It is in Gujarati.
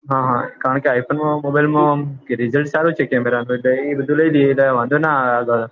હા હા i phone માં mobile માં ઓમ રિજલ્ટ સારુ છે કેમેરા નું એ બધું લઇ લિયે એટલે વાંધો ના આવે આગળ